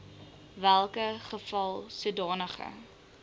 welke geval sodanige